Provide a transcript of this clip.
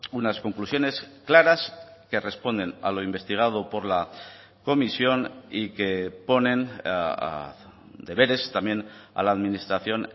unas conclusiones claras que responden a lo investigado por la comisión y que ponen deberes también a la administración